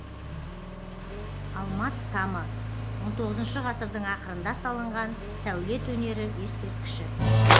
алмат тамы он тоғызыншы ғасырдың ақырында салынған сәулет өнері ескерткіші